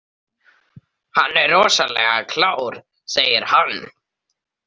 Hann er rosalega klár, segir hann.